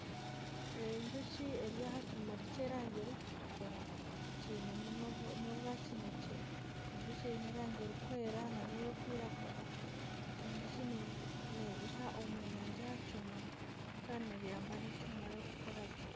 Enjoki eri aha kimuri kyerangi erikutukura. kiinemu n'obwakinekye. Enjoki eine erangi erikwera nana erikwiragura. Enjoki neyiha omweyangye aha kimuri kandi neyamba n'ekimuri okukira gye.